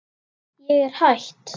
Ég er hætt.